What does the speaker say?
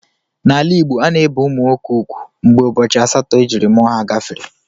N'ala Igbo,a na-ebe ụmụ nwoke ugwu mgbe ụbọchị asatọ ejiri mụọ ha gafere.